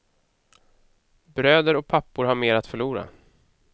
Bröder och pappor har mer att förlora.